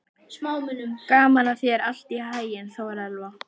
Gangi þér allt í haginn, Þórelfa.